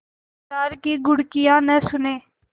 दुकानदार की घुड़कियाँ न सुने